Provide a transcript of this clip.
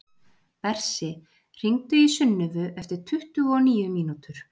Bersi, hringdu í Sunnivu eftir tuttugu og níu mínútur.